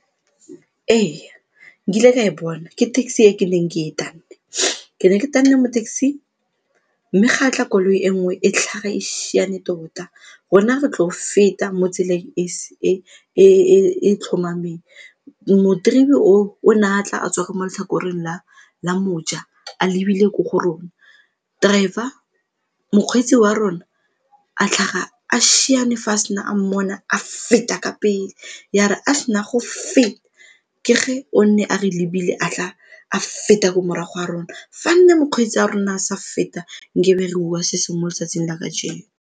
Ee, nkile ka e bona ke taxi e ke neng ke e tanne. Ke ne ke tanne mo taxi-ing mme ga a tla koloi e nngwe e tlhaga e siana tota rona re tlo go feta mo tseleng e e tlhomameng o ne a tla a tswa mo letlhakoreng la moja a lebile ko go rona, driver, mokgweetsi wa rona a tlhaga a siane fa a sena a mmona a feta ka pele ya re a sena go feta ke ge o ne a re lebile a tla a feta ko morago ga rona. Fa nne mokgweetsi a rona a sa feta nkabe re bua se sengwe mo letsatsing la kajeno.